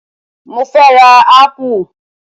Mo fẹ́ rà ápù